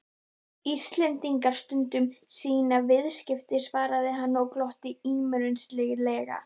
Íslendingar stunda sín viðskipti, svaraði hann og glotti illyrmislega.